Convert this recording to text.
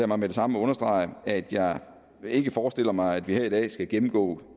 mig med det samme understrege at jeg ikke forestiller mig at vi her i dag skal gennemgå